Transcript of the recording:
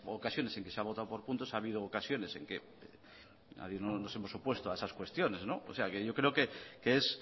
ocasiones en que se ha votado por punto ha habido ocasiones en que nadie nos hemos opuesto a esas cuestiones o sea que yo creo que es